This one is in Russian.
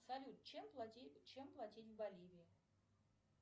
салют чем платить в боливии